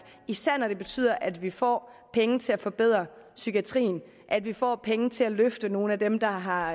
især når det betyder at vi får penge til at forbedre psykiatrien at vi får penge til at løfte nogle af dem der har